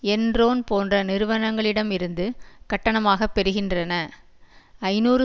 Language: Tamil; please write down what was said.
என்ரோன் போன்ற நிறுவனங்களிடமிருந்து கட்டணமாகப் பெறுகின்றன ஐநூறு